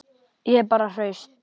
Ég er bara hraust.